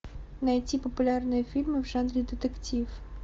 найти популярные фильмы в жанре детектив